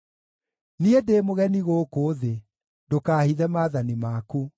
Niĩ ndĩ mũgeni gũkũ thĩ; ndũkaahithe maathani maku.